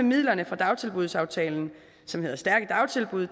midlerne fra dagtilbudsaftalen som hedder stærke dagtilbud